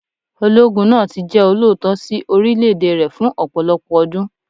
Ológun náà tí jẹ́ olóòótọ́ sí orílẹ̀ èdè rẹ̀ fún ọ̀pọ̀lọpọ̀ ọdún.